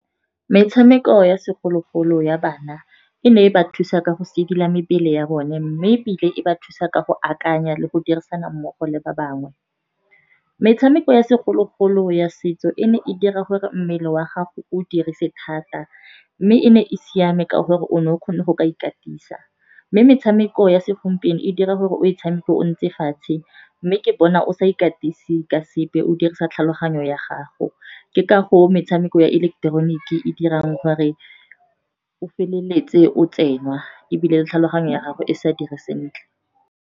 Metshameko ya segologolo ya bana e ne e ba thusa ka go sedila mebele ya bone, mme ebile e ba thusa ka go akanya le go dirisana mmogo le ba bangwe. Metshameko ya segologolo ya setso e ne e dira gore mmele wa gago o dirise thata, mme e ne e siame ka gore o ne o kgone go ka ikatisa. Mme metshameko ya segompieno e dira gore o e tshameke o ntse fatshe, mme ke bona o sa ikatise ka sepe o dirisa tlhago tlhaloganyo ya gago. Ke ka goo metshameko ya ileketeroniki e dirang gore o feleletse o tsenwa, ebile le tlhaloganyo ya gago e sa dire sentle.